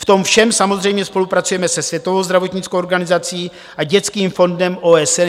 V tom všem samozřejmě spolupracujeme se Světovou zdravotnickou organizací a Dětským fondem OSN.